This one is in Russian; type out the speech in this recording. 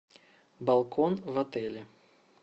балкон в отеле